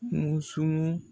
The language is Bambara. Mun sumun